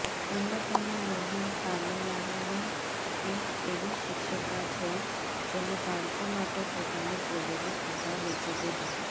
અન્નપૂર્ણા મોહન તામિલનાડુની એક એવી શિક્ષિકા છે જેણે બાળકો માટે પોતાની જ્વેલરી સુદ્ધા વેચી દીધી